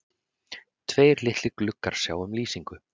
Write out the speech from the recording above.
Tveir litlir gluggar sjá um lýsingu